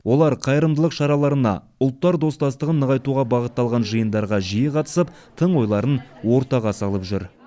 олар қайырымдылық шараларына ұлттар достастығын нығайтуға бағытталған жиындарға жиі қатысып тың ойларын ортаға салып жүр